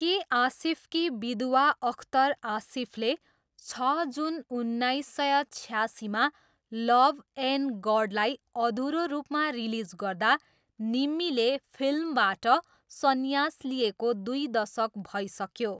के आसिफकी विधवा अख्तर आसिफले छ जुन उन्नाइस सय छयासीमा लभ एन्ड गडलाई अधुरो रूपमा रिलिज गर्दा निम्मीले फिल्मबाट सन्यास लिएको दुई दशक भइसक्यो।